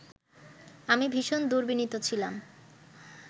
আমি ভীষণ দুর্বিনীত ছিলাম